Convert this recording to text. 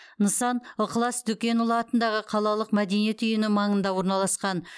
нысан ықылас дүкенұлы атындағы қалалық мәдениет үйінің маңында орналасқан